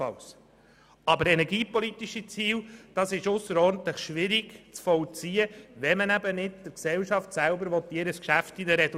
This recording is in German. Dass man aber bei einem Verkauf energiepolitische Ziele verfolgen soll, ist ausserordentlich schwierig zu verstehen, wenn man der Gesellschaft selber nicht ins Geschäft hineinreden will.